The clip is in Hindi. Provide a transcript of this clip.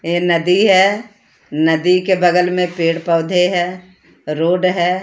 ये नदी है नदी के बगल में पेड़ पौधे हैं रोड है।